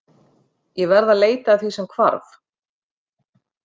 Ég verð að leita að því sem hvarf.